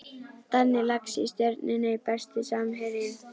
Danni Lax í Stjörnunni Besti samherjinn?